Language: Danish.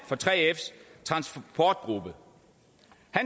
for 3fs transportgruppe